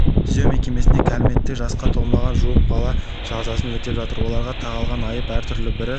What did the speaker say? түзеу мекемесінде кәмелеттік жасқа толмаған жуық бала жазасын өтеп жатыр оларға тағылған айып әр түрлі бірі